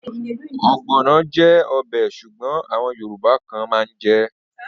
Ogbono jẹ́ ọbẹ̀ Ṣùgbọ́n àwọn yorùbá kan mán jè.